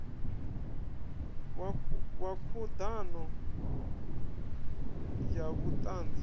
wa khud ano ya vhutanzi